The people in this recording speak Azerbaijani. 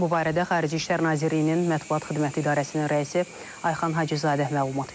Bu barədə Xarici İşlər Nazirliyinin Mətbuat Xidməti İdarəsinin rəisi Ayxan Hacızadə məlumat verib.